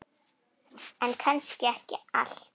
En kannski ekki allt.